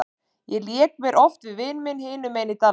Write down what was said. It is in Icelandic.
Ég lék mér oft við vin minn hinum megin í dalnum.